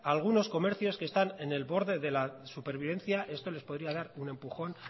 algunos comercios que están en el borde de la supervivencia esto les podría dar un empujón